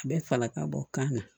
A bɛ fala ka bɔ kan na